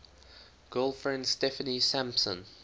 girlfriend steffanie sampson